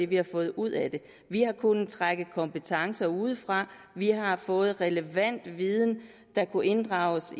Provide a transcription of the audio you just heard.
vi har fået ud af det vi har kunnet trække kompetencer udefra vi har fået relevant viden der kunne inddrages